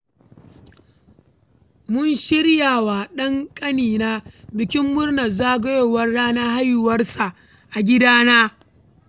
Mun shirya wa ɗan ƙanina bikin murnar zagayowar ranar haihuwar sa a gidana.